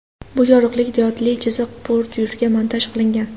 Bu yorug‘lik diodli chiziq bordyurga montaj qilingan.